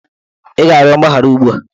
Ị ga-arịọ ya mgbaghara ugbu a!